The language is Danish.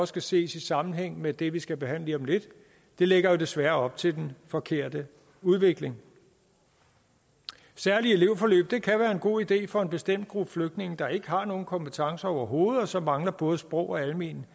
skal ses i sammenhæng med det vi skal behandle lige om lidt lægger desværre op til den forkerte udvikling særlige elevforløb kan være en god idé for en bestemt gruppe flygtninge der ikke har nogen kompetencer overhovedet og som mangler både sproglige